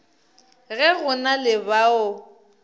ge go na le bao